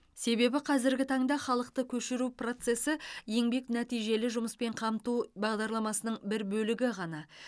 себебі қазіргі таңда халықты көшіру процесі еңбек нәтижелі жұмыспен қамту бағдарламасының бір бөлігі ғана